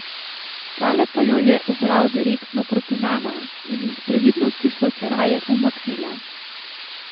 Tale pa jo je ubral direktno proti nama in iz previdnosti sva se raje umaknila.